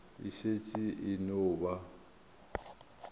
e šetše e no ba